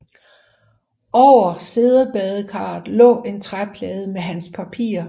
Over siddebadekarret lå en træplade med hans papirer